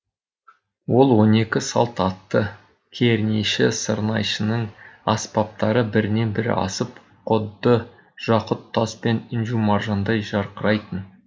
ол он екі салт атты кернейші сырнайшының аспаптары бірінен бірі асып құдды жақұт тас пен інжу маржандай жарқырайтын